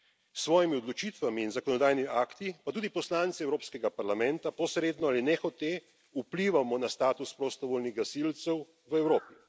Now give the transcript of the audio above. S svojimi odločitvami in zakonodajnimi akti pa tudi poslanci Evropskega parlamenta posredno ali nehote vplivamo na status prostovoljnih gasilcev v Evropi.